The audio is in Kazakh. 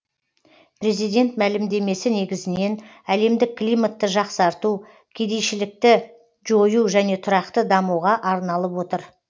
президент мәлімдемесі негізінен әлемдік климатты жақсарту кедейшілікті жою және де тұрақты дамуға арналып отыр